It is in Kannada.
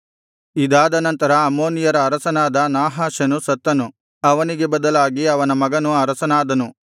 ಇದಾದನಂತರ ಅಮ್ಮೋನಿಯರ ಅರಸನಾದ ನಾಹಾಷನು ಸತ್ತನು ಅವನಿಗೆ ಬದಲಾಗಿ ಅವನ ಮಗನು ಅರಸನಾದನು